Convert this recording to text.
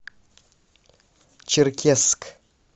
черкесск